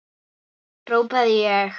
hrópaði ég.